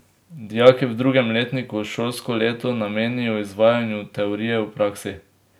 Dijaki v drugem letniku šolsko leto namenijo izvajanju teorije v praksi.